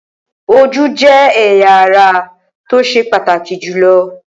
Ojú jẹ́ ẹ̀yà ara tó ṣe pàtàkì jùlọ.